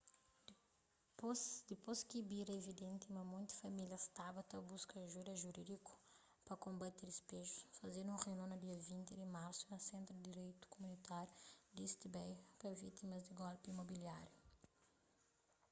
dipôs ki bira evidenti ma monti famílias staba ta buska ajuda jurídiku pa konbati dispejus fazedu un reunion na dia 20 di marsu na sentru di direitu kumunitáriu di east bay pa vítimas di golpi imobiláriu